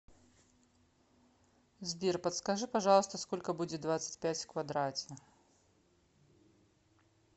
сбер подскажи пожалуйста сколько будет двадцать пять в квадрате